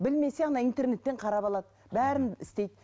білмесе ана интернеттен қарап алады бәрін істейді